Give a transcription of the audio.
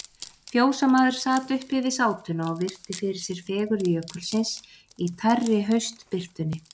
Fjósamaður sat uppi við sátuna og virti fyrir sér fegurð Jökulsins í tærri haustbirtunni.